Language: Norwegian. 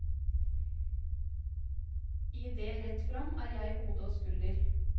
I det rett fram er jeg hode og skulder.